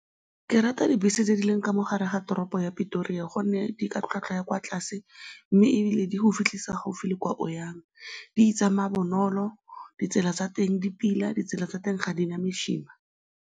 Ke rata dibese tse di leng ka mo gare ga toropo ya Petoria gonne di ka tlhwatlhwa ya kwa tlase mme ebile di go fitlhisa gaufi le kwa o yang. Di tsamaya bonolo, ditsela tsa teng di pila, ditsela tsa teng ga di na mesima.